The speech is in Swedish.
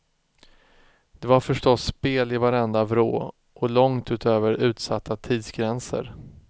Det var förstås spel i varenda vrå och långt utöver utsatta tidsgränser.